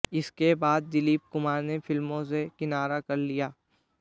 इसके बाद दिलीप कुमार ने फिल्मों से किनारा कर लिया